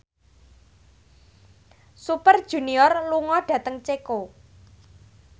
Super Junior lunga dhateng Ceko